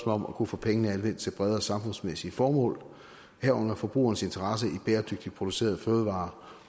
om at kunne få pengene anvendt til bredere samfundsmæssige formål herunder forbrugerens interesse i bæredygtigt producerede fødevarer